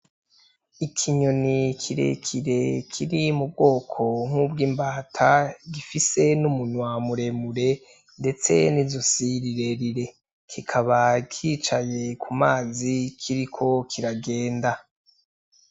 ikinyoni kirekire kiri mubwoko nkubwimbata gifise numunwa muremure ndetse nizosi rirerire kikaba cicaye kumazi kiriko kiragenda